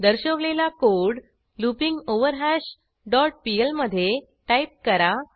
दर्शवलेला code लूपिंगवरहॅश dot PL मधे type करा